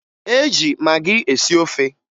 E ji magị esi ofe